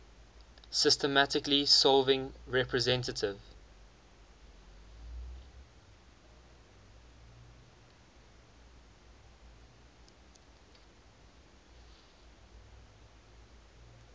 systematically solving representative